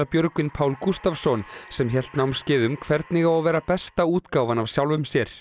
Björgvin Pál Gústavsson sem hélt námskeið um hvernig á að vera besta útgáfan af sjálfum sér